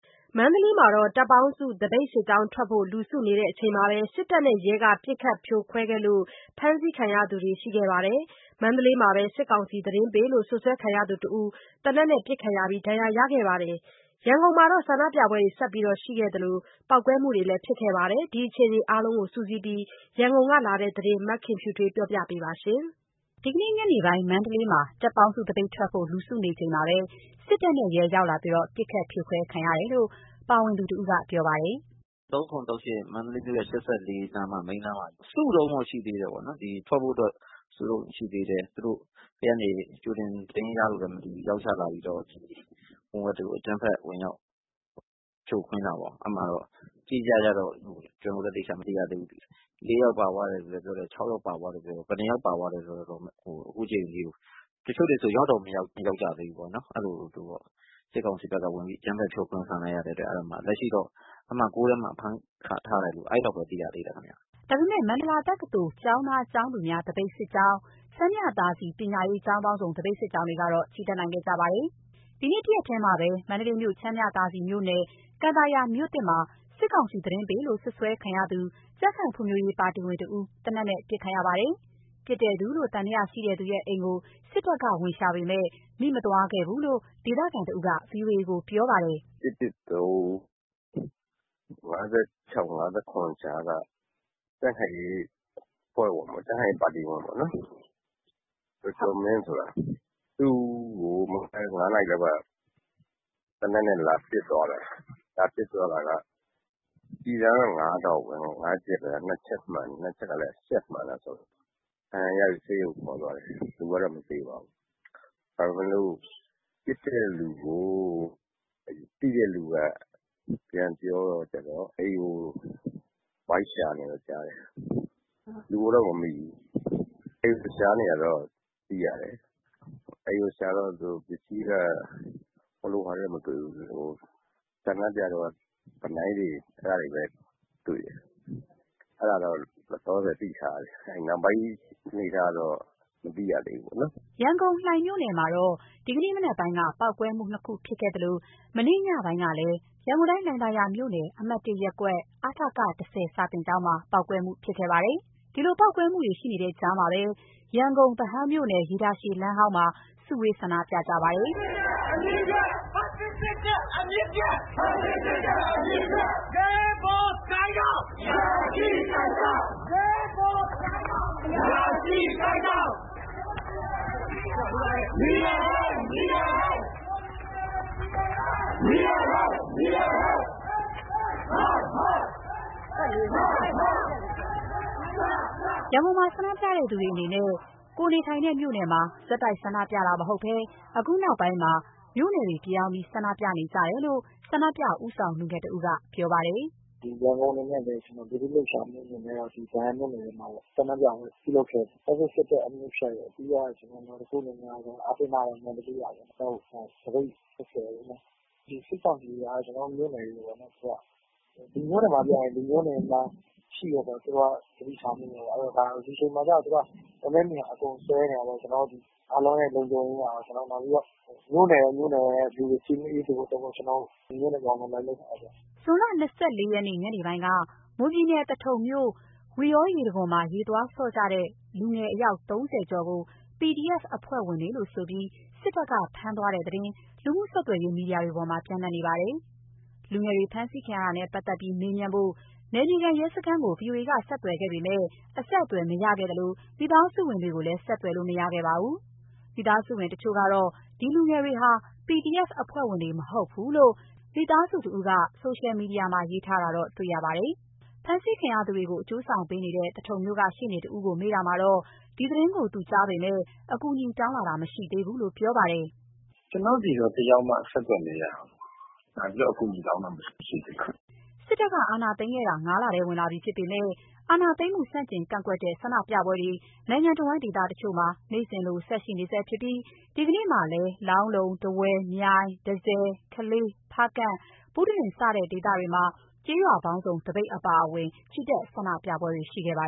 မန္တလေးမှာ တပ်ပေါင်းစု သပိတ်စစ်ကြောင်းထွက်ဖို့ လူစုနေချိန်မှာပဲ စစ်တပ်နဲ့ရဲက ပစ်ခတ် ဖြိုခွဲခဲ့သလို ဖမ်းဆီးခံရသူတွေလည်း ရှိခဲ့ပါတယ်။ မန္တလေးမှာပဲ စစ်ကောင်စီသတင်းပေးလို့ စွပ်စွဲခံရသူတဦး သေနတ်နဲ့ ပစ်ခံရပြီး ဒဏ်ရာရခဲ့ပါတယ်။ ရန်ကုန်မှာတော့ ဆန္ဒပြပွဲရှိခဲ့သလို ပေါက်ကွဲတာတချို့လည်း ရှိခဲ့ပါတယ်။ ဒီအခြေအနေအားလုံးကိုစုစည်းပြီး ရန်ကုန်ကလာတဲ့သတင်းကို မခင်ဖြူထွေးက ပြောပြပါမယ်။ ဒီကနေ့ ညနေပိုင်း မန္တလေးမှာ တပ်ပေါင်းစုသပိတ်ထွက်ဖို့ လူစုနေချိန်မှာပဲ စစ်တပ်နဲ့ရဲ ရောက်လာပြီးတော့ ပစ်ခတ်ဖြိုခွဲခံခဲ့ရတယ်လို့ ပါဝင်သူတဦးကပြောပါတယ်။ “၃၇၊ ၃၈ မန္တလေးမြို့ရဲ့ ၈၄ မိန်းလမ်းမကြီးပေါ့၊ စုတုန်းပဲ ရှိသေးတယ်ပေ့ါနော် ထွက်ဖို့အတွက်၊ အဲ့ဒါကို သူတို့တွေ ဘယ်ကနေ ကြိုတင် သတင်းရလာတယ် မသိဘူး၊ ချက်ချင်း ရောက်ချလာပြီးတော့ အကြမ်းဖက် ဝင်ရောက်ဖြိုခွင်းတာပေါ့။ အတိအကျတော့ ကျွန်တော်တို့လဲ မသိရသေးဘူး။ ၄ ယောက်ပါသွားတယ်လို့လဲ ပြောတယ်။ ၆ ယောက်ပါသွားတယ်လို့လဲပြောတယ်။ ဘယ်လောက်ပါသွားလဲဆိုတာ ခုအချိန်ထိ အတိအကျ မသိရသေးဘူး။ တချို့တွေဆို ရောက်တောင် မရောက်ကြသေးဘူး။ စစ်ကောင်စီဖက်က အကြမ်းဖက် ဖြိုခွင်းလိုက်တော့ လက်ရှိတော့ အမှတ် ၆ ထဲမှာ ဖမ်းခံထားရတယ်လို့ အဲ့လောက်ပဲ သိရသေးတယ်ဗျ။” ဒါပေမယ့် မန္တလာတက္ကသိုလ် ကျောင်းသား၊ ကျောင်းသူများ သပိတ်စစ်ကြောင်း၊ ချမ်းမြသာစည် ပညာရေး ကျောင်းပေါင်းစုံ သပိတ်စစ်ကြောင်းတို့ကတော့ ချီတက်နိုင်ခဲ့ပါတယ်။ ဒီနေ့တရက်ထဲမှာပဲ မန္တလေးမြို့ ချမ်းမြသာစည်မြို့နယ် ကန်သာယာမြို့သစ်မှာ စစ်ကောင်စီသတင်းပေးလို့ စွပ်စွဲခံရသူ ကြံခိုင်ဖွံ့ဖြိုးရေးပါတီဝင်တဦး သေနတ်နဲ့ ပစ်ခံရပါတယ်။ ပစ်တဲ့သူလို့ သံသယရှိသူရဲ့အိမ်ကို စစ်တပ်က ဝင်ရှာပေမယ့် မိမသွားဘူးလို့ ဒေသခံတဦးက ဗွီအိုအေကို ပြောပါတယ်။ “၁၁၃၊ ၅၆၊ ၅၇ ကြားက ကြံခိုင်ရေးပါတီဝင်ပေါ့နော်၊ ကျော်ကျော်မင်းဆိုတာ သူ့ကို မနက် ၅ နာရီလောက် သေနတ်နဲ့ လာပစ်သွားတာ။ လာပစ်သွားတာက ကျည်ဆန်က ၅ တောင့်ပဲ၊ နှစ်ချက်မှန်တယ်။ မှန်တာကလဲ ရှပ်မှန်တာဆိုတော့ ဒဏ်ရာရပြီး ဆေးရုံကို ခေါ်သွားတယ်။ လူကတော့ မသေပါဘူး။ ဒါပေမယ့်လို့ ပစ်တဲ့လူကို သိတဲ့သူက ပြန်ပြောတော့ လိုက်ရှာတယ်လို့ ကြားတယ်။ လူကိုတော့ မမိဘူး။ အိမ်ကိုရှာတော့ ပစ္စည်းက တခြားတော့ မတွေ့ဘူး။ ဆန္ဒပြတုန်းက ဗီနိုင်းတွေပဲ တွေ့တယ်။ အဲ့ဒါတော့ လောလောဆယ်သိထားရတယ်။ နောက်ပိုင်း အနေအထားကတော့ မသိရသေးဘူးပေါ့နော်။” ရန်ကုန်၊ လှိုှုင်မြို့နယ်မှာတော့ ဒီကနေ့မနက်ပိုင်းက ပေါက်ကွဲမှုနှစ်ခုဖြစ်ခဲ့သလို မနေ့ညပိုင်းကလည်း ရန်ကုန်တိုင်း၊ လှိုင်သာယာမြို့နယ်၊ အမှတ် (၁) ရပ်ကွက်၊ အ.ထ.က (၁၀) စာသင်ကျောင်းမှာ ပေါက်ကွဲမှုရှိခဲ့ပါတယ်။ ဒီလိုပေါက်ကွဲမှုတွေ ရှိခဲ့တဲ့ကြားမှာပဲ ရန်ကုန်၊ ဗဟန်းမြို့နယ်၊ ရေတာရှည်လမ်းဟောင်းမှာ စုဝေး ဆန္ဒပြခဲ့ကြပါတယ်။ ရန်ကုန်မှာ ဆန္ဒပြသူတွေအနေနဲ့ ကိုယ်နေထိုင်တဲ့မြို့နယ်မှာ ဆက်တိုက်ဆန္ဒပြတာမဟုတ်ဘဲ အခုနောက်ပိုင်းမှာ မြို့နယ်တွေပြောင်းပြီး ဆန္ဒပြနေကြတယ်လို့ ဆန္ဒပြဦးဆောင် လူငယ်တဦးက ပြောပါတယ်။ “ရန်ကုန်အနေနဲ့လည်း ပြည်သူ့လှုပ်ရှားမှုအနေနဲ့ ဒီဗဟန်းမြို့နယ်ထဲမှာပေါ့ ဆန္ဒပြပွဲပြုလုပ်ခဲ့တယ်။ ဖက်ဆစ်စစ်တပ်အမြစ်ပြုတ်၊ ပြီးတော့ ကျနော်တို့ နောက်တစ်ခုအနေနဲ့ကတော့ အားတင်းထားပါ မန္တလေးရာပေါ့နော်။ သပိတ်ဆင်နွှဲခဲ့တယ်ပေ့ါနော်။ ဒီစစ်ကောင်စီက ကျနော်တို့မြို့နယ်တွေပေါ့နော် သူက ဒီမြို့နယ်မှာပြင် ဒီမြို့နယ်မှာ ရှိနေတယ်ဆိုတာ သူတို့က သတိထားမိနေမယ် အဲ့တော့ဒီအချိန်မှာကျ သူတို့ကလမ်းထဲမြင်ရင် အကုန်ဆွဲနေတာပေါ့ ကျနော်တို့ ဒီအားလုံးရဲ့ လုံခြုံရေးအရရော နောက်ပြီးတော့ တမြို့နယ်နဲ့ တမြို့နယ်လူတွေ သတိပြုမိဖို့အတွက် ကျနော်တို့မြို့နယ်ပြောင်းပြီး လိုက်လုပ်တာပေါ့။” ဇွန်လ ၂၄ ရက်နေ့ ညနေပိုင်းက မွန်ပြည်နယ် သထုံမြို့ ဝီယော်ရေတံခွန်မှာ ရေသွားဆော့ကြတဲ့ လူငယ်အယောက် ၃၀ ကျော်ကို PDF အဖွဲ့ဝင်တွေဆိုပြီး စစ်တပ်က ဖမ်းသွားတဲ့သတင်း လူမှုဆက်သွယ်ရေး မီဒီယာပေါ်မှာ ပျံ့နေပါတယ်။ ဒီလူငယ်တွေ ဖမ်းဆီးခံရတာနဲ့ပတ်သက်ပြီး မေးမြန်းဖို့ နယ်မြေခံရဲစခန်းကို ဗွီအိုအေက ဆက်သွယ်ခဲ့ပေမယ် အဆက်အသွယ်မရခဲ့သလို မိသားစုဝင်တွေကိုလည်း ဆက်သွယ်လို့ မရခဲ့ပ့ါဘူး။ မိသားစုဝင်တချို့ကတော့ ဒီလူငယ်တွေဟာ PDF အဖွဲ့ဝင်တွေမဟုတ်ဘူးလို့ မိသားစုတဦးက ဆိုရှယ်မီဒီယာမှာ ရေးထားတာတော့ တွေ့ရပါတယ်။ ဖမ်းဆီးခံရသူတွေကို အကျိုးဆောင်ပေးနေတဲ့ သထုံမြို့က ရှေ့နေတဦးကို မေးတာမှာတော့ ဒီသတင်းကို သူကြားပေမယ့် အကူအညီတောင်းလာတာ မရှိသေးဘူးလို့ ပြောပါတယ်။ “ကျနော်တို့ကို တယောက်မှအဆက်သွယ်မရဘူး၊ လာပြီးတော့ အကူအညီတောင်းတာ မရှိဘူး၊ မရှိသေးဘူး။” စစ်တပ်က အာဏာသိမ်းခဲ့တာ ၅ လထဲ ဝင်လာပြီဖြစ်ပေမယ့် အာဏာသိမ်းမှု ဆန့်ကျင်ကန့်ကွက်တဲ့ ဆန္ဒပြပွဲတွေ နိုင်ငံတဝန်း ဒေသတချို့မှာ နေ့စဉ်လို ဆက်ရှိနေဆဲဖြစ်ပြီး ဒီကနေ့မှာလည်း လောင်းလုံး၊ ထားဝယ်၊ မြိုင်၊ တန့်ဆည်၊ ကလေး၊ ဖားကန့်၊ ဘုတလင် စတဲ့ဒေသအသီးသီးမှာ ကျေးရွာပေါင်းစုံသပိတ်အပါအဝင် ချီတက်ဆန္ဒပြပွဲတွေ ရှိခဲ့ပါ